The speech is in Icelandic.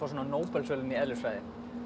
Nóbelsverðlaunin í eðlisfræði